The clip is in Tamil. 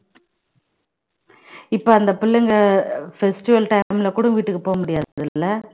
இப்போ அந்த பிள்ளைங்க festival time ல கூட வீட்டுக்கு போக முடியாது இல்ல